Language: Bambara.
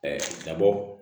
nabɔ